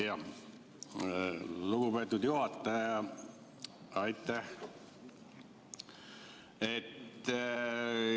Aitäh, lugupeetud juhataja!